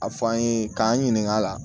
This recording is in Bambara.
A fɔ an ye k'an ɲininka a la